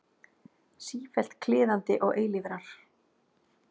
Sífellt kliðandi og eilífrar.